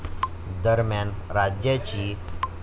दरम्यान राज्याची.